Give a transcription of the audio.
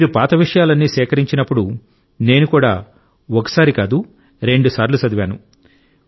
మీరు పాత విషయాలన్నీ సేకరించినప్పుడు నేను కూడా ఒకసారి కాదు రెండుసార్లు చదివాను